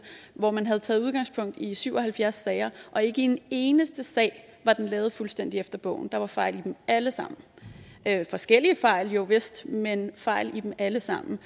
hvor man havde taget udgangspunkt i syv og halvfjerds sager og ikke i én eneste sag var det lavet fuldstændig efter bogen der var fejl i dem alle sammen forskellige fejl jovist men fejl i dem alle sammen